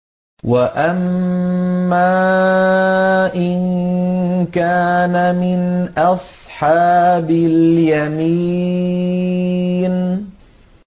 وَأَمَّا إِن كَانَ مِنْ أَصْحَابِ الْيَمِينِ